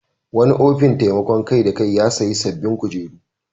Wani ofin taimakon kai-da-kai ya sayi sabbin kujeru.